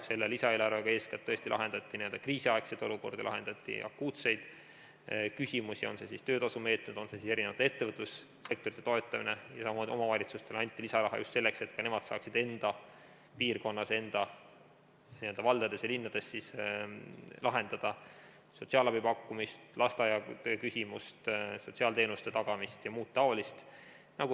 Selle lisaeelarvega eeskätt tõesti lahendati kriisiaegset olukorda, lahendati akuutseid küsimusi, on need siis töötasumeetmed, on see siis erinevate ettevõtlussektorite toetamine, ja samamoodi omavalitsustele anti lisaraha just selleks, et ka nemad saaksid enda piirkonnas, valdades ja linnades lahendada sotsiaalabi pakkumise küsimust, lasteaiatöö küsimust, tagada sotsiaalteenuseid ja muud taolist.